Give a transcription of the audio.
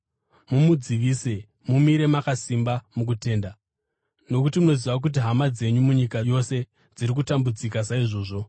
Mumudzivise, mumire makasimba mukutenda, nokuti munoziva kuti hama dzenyu munyika yose dziri kutambudzika saizvozvo.